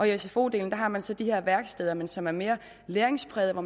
i sfo delen har man så de her værksteder men som er mere læringsprægede og